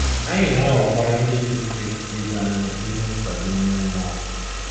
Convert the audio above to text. Anyị na-ághọ̀kwara Ndị Otù Kristi ibe anyị ezi nkwado ime mmụọ.